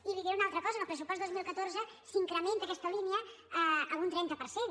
i li diré una altra cosa en el pressupost dos mil catorze s’incrementa aquesta línia en un trenta per cent